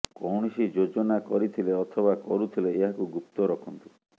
କୌଣସି ଯୋଜନା କରିଥିଲେ ଅଥବା କରୁଥିଲେ ଏହାକୁ ଗୁପ୍ତ ରଖନ୍ତୁ